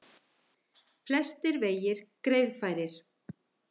Flestir vegir greiðfærir